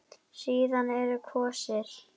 Síðan er kosið.